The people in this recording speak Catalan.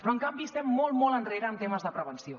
però en canvi estem molt molt enrere en temes de prevenció